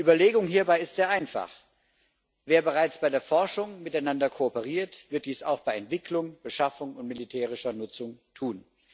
Die Überlegung hierbei ist sehr einfach Wer bereits bei der Forschung miteinander kooperiert, wird dies auch bei Entwicklung, Beschaffung und militärischer Nutzung tun.